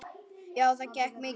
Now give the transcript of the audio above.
Já, það gekk mikið á.